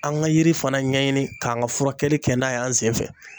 An ka yiri fana ɲɛɲini , k'an ka furakɛli kɛ n'a y'an sen fɛ